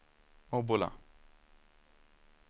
Obbola